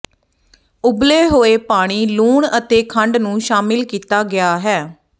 ਉਬਲੇ ਹੋਏ ਪਾਣੀ ਲੂਣ ਅਤੇ ਖੰਡ ਨੂੰ ਸ਼ਾਮਿਲ ਕੀਤਾ ਗਿਆ ਹੈ